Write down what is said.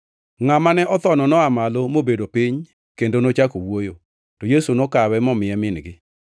Ngʼat mane othono noa malo mobedo piny kendo nochako wuoyo, to Yesu nokawe momiye min-gi.